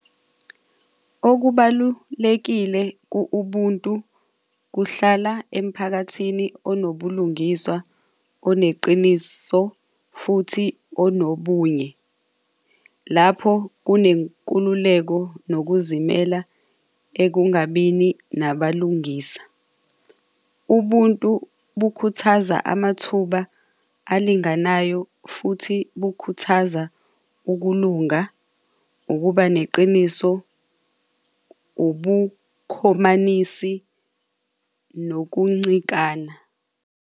Okubalulekile ku-ubuntu kuhlala emphakathini onobulungiswa oneqiniso futhi onobunye. Lapho kunenkululeko nokuzimela ekungabini nabalungisa. Ubuntu bukhuthaza amathuba alinganayo futhi bukhuthaza ukulunga, ukuba neqiniso ubukhomanisi nokuncikana.